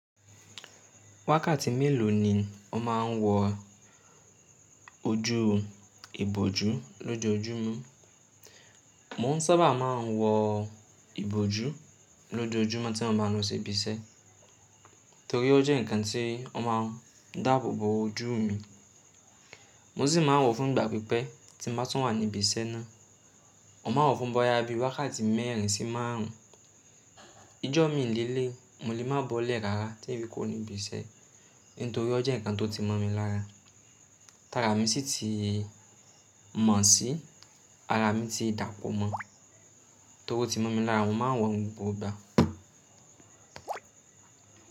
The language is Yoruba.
Wákàtí mélòó ni o máa ń wọ ojú ìbòjú lójoojúmọ́? Mo ń sábà máa ń wọ ìbòjú lójoojúmọ́ tí mo bá n lọ sí ibi iṣẹ́, torí ó jẹ́ ǹkan tí ó máa ń dáàbò bo ojú mi. Mo sì máa ń wo fún ìgbà pípẹ́ tí mo bá tun wá ní ibi iṣẹ́ náà. Mo ma n wọ fún bóyá bí i wákàtí mẹ́rin sí márùn ún. Ijọ́ mi lè lé, mo lè mọ bọ́lẹ̀ rárá tí n fi kuò ní ibi iṣẹ́, nítorí ó jẹ́ ǹkan tó ti mọ̀ mi lára. Tára mi sì ti mọ̀ sí ara mi ti dàpọ̀ mọ́, torí ó ti mọ̀ mi lára, mo ma n wọ̀ ní gbogbo ìgbà.